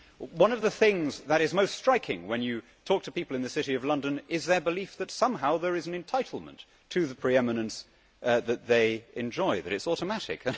One of the things that is most striking when you talk to people in the City of London is their belief that somehow there is an entitlement to the pre eminence that they enjoy, that it is automatic.